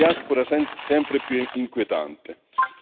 Questo fa sorgere tante domande e tanti perché.